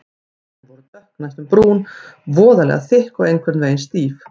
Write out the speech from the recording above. Blöðin voru dökk, næstum brún, voðalega þykk og einhvern veginn stíf.